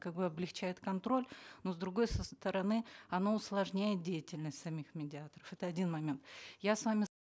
как бы облегчает контроль но с другой стороны оно усложняет деятельность самих медиаторов это один момент я с вами